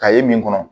Ka ye min kɔnɔ